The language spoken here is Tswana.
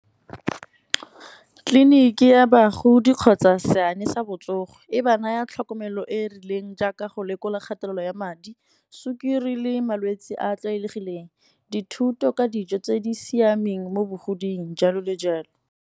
Tleliniki ya bagodi kgotsa seane sa botsogo, e ba naya tlhokomelo e e rileng jaaka go lekola kgatelelo ya madi, sukiri le malwetsi a a tlwaelegileng, dithuto ka dijo tse di siameng mo bogodimong jalo le jalo.